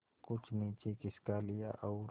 कुछ नीचे खिसका लिया और